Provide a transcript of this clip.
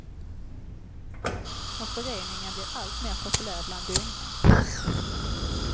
Och föreningen blir allt mer populär bland unga.